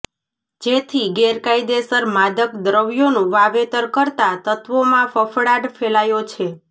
જેથી ગેરકાયદેસર માદક દ્રવ્યોનું વાવેતર કરતા તત્વોમાં ફફડાટ ફેલાયો છે